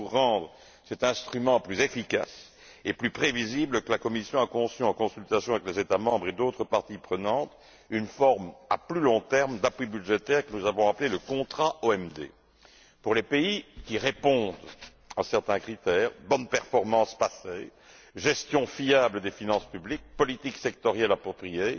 C'est pour rendre cet instrument plus efficace et plus prévisible que la Commission a conçu, en consultation avec les États membres et d'autres parties prenantes, une forme à plus long terme d'appui budgétaire que nous avons appelé le contrat OMD pour les pays qui répondent à certains critères bonne performance passée, gestion fiable des finances publiques, politique sectorielle appropriée,